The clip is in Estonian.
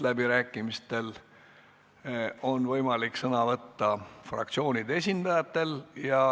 Läbirääkimistel on võimalik sõna võtta fraktsioonide esindajatel.